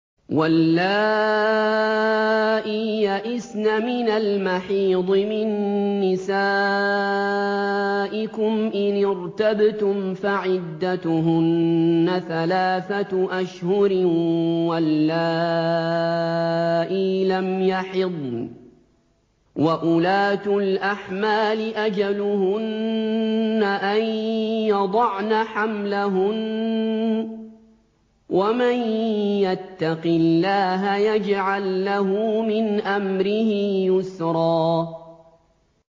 وَاللَّائِي يَئِسْنَ مِنَ الْمَحِيضِ مِن نِّسَائِكُمْ إِنِ ارْتَبْتُمْ فَعِدَّتُهُنَّ ثَلَاثَةُ أَشْهُرٍ وَاللَّائِي لَمْ يَحِضْنَ ۚ وَأُولَاتُ الْأَحْمَالِ أَجَلُهُنَّ أَن يَضَعْنَ حَمْلَهُنَّ ۚ وَمَن يَتَّقِ اللَّهَ يَجْعَل لَّهُ مِنْ أَمْرِهِ يُسْرًا